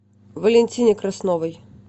валентине красновой